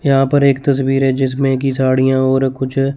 यहां पर एक तस्वीर है जिसमें की झाड़ियां और कुछ--